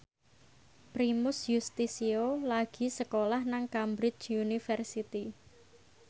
Primus Yustisio lagi sekolah nang Cambridge University